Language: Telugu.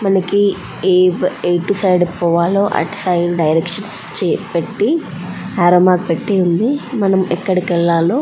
మనకి ఎటు సైడ్ పోవాలో అటు సైడ్ డైరెక్షన్ చై పెట్టి అర్రౌ మార్క్ పెట్టి ఉంది మనం ఎక్కడకి వేళల్లో --